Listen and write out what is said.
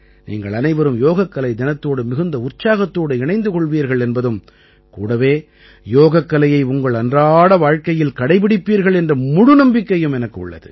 நீங்கள் அனைவரும் யோகக்கலை தினத்தோடு மிகுந்த உற்சாகத்தோடு இணைந்து கொள்வீர்கள் என்பதும் கூடவே யோகக்கலையை உங்கள் அன்றாட வாழ்க்கையில் கடைப்பிடிப்பீர்கள் என்ற முழு நம்பிக்கையும் எனக்கு உள்ளது